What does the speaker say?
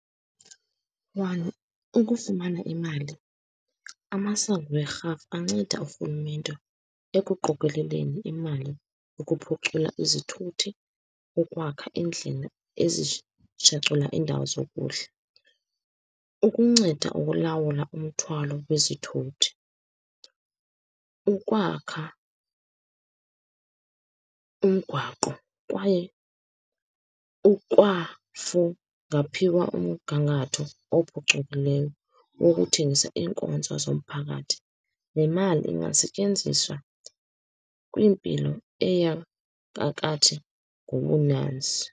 One, ukufumana imali, amasango werhafu anceda urhulumente ekuqokeleleni imali, ukuphucula izithuthi, ukwakha iindlela indawo zokudla, ukunceda ukulawula umthwalo wezithuthi, ukwakha umgwaqo, kwaye ukwafungaphiwa umgangatho ophucukileyo wokuthengisa iinkonzo zomphakathi. Le mali ingasetyenziswa kwimpilo eya ngobunanzi